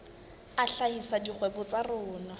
a hlahisa dikgwebo tsa tsona